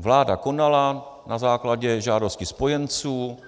Vláda konala na základě žádosti spojenců,